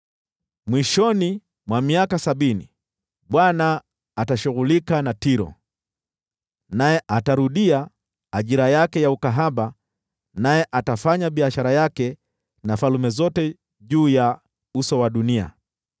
Mwishoni mwa miaka sabini, Bwana atashughulika na Tiro. Naye atarudia ajira yake ya ukahaba, na atafanya biashara yake na falme zote juu ya uso wa dunia.